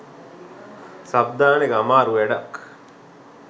sub දාන එක අමරු වැඩක්